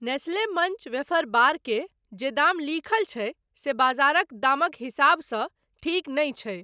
Nestle Munch wafer bar के जे दाम लिखल छै से बाजारक दामक हिसाब सँ ठीक नहि छै।